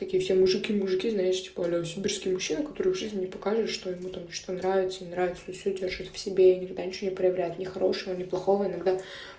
такие все мужики мужики знаешь типа аля сибирский мужчина который в жизни не показывает что ему там что нравится не нравится и всё держит в себе и никогда не проявляет ни хорошего ни плохого иногда